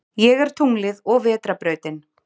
Ég er tunglið og vetrarbrautin.